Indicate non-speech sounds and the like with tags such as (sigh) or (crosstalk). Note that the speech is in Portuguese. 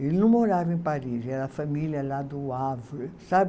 Ele não morava em Paris, era família lá do, (unintelligible) sabe?